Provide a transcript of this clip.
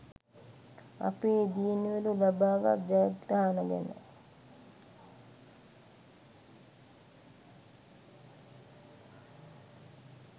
අපේ දියණිවරු ලබා ගත් ජයග්‍රහණ ගැන